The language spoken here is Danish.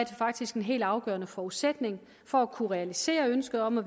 faktisk en helt afgørende forudsætning for at kunne realisere ønsket om at